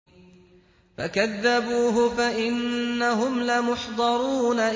فَكَذَّبُوهُ فَإِنَّهُمْ لَمُحْضَرُونَ